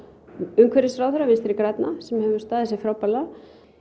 umhverfisráðherra Vinstri grænna sem hefur staðið sig frábærlega